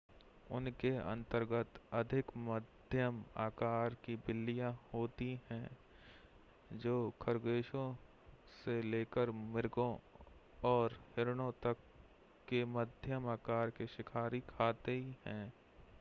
उनके अंतर्गत अधिक मध्यम आकार की बिल्लियां होती हैं जो खरगोशों से लेकर मृगों और हिरणों तक के मध्यम आकार के शिकार खाती हैं